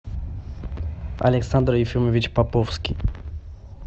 александр ефимович поповский